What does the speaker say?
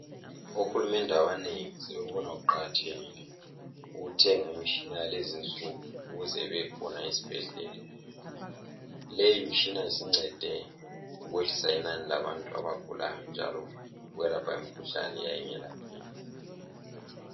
Ohulumende abanengi sebehona kuqakathekile ukuthenga imitshina yakulezi insuku ukuze ibekhona esibhedlela. Leyi mitshina sincede ukwehlisa inani labantu abagulayo njalo ukwelapha imikhuhlane eyayingelapheki.